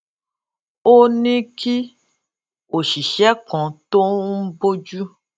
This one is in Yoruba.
ó ní kí òṣìṣé kan tó ń bójú